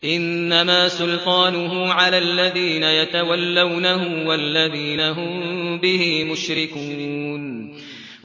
إِنَّمَا سُلْطَانُهُ عَلَى الَّذِينَ يَتَوَلَّوْنَهُ وَالَّذِينَ هُم بِهِ مُشْرِكُونَ